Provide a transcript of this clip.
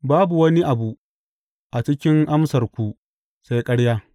Babu wani abu cikin amsarku sai ƙarya!